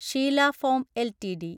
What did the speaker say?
Sheela foam LTD